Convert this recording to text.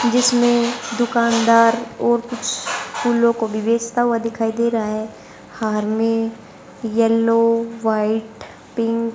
जिसमें दुकानदार और कुछ फूलों को भी बेचता हुआ दिखाई दे रहा है हार में येलो व्हाइट पिक --